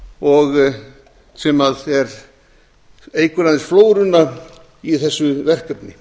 mófuglar sem eykur aðeins flóruna í þessu verkefni